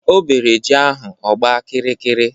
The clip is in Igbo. O bere ji ahụ ọgba kiri kiri